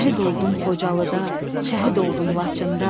Şəhid oldum Xocalıda, şəhid oldum Laçında.